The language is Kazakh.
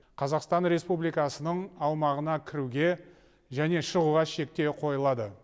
қазақстан республикасының аумағына кіруге және шығуға шектеу қойылады